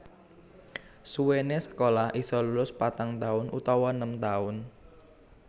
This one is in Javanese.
Suwéné sekolah isa lulus patang taun utawa nem taun